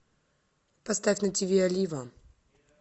поставь на ти ви олива